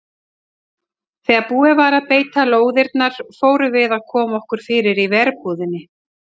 Þegar búið var að beita lóðirnar fórum við að koma okkur fyrir í verbúðinni.